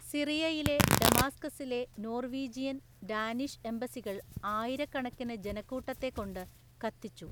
സിറിയയിലെ ഡമാസ്‌കസിലെ Norwegian, Danish എംബസികൾ ആയിരക്കണക്കിന് ജനക്കൂട്ടത്തെക്കൊണ്ട് കത്തിച്ചു.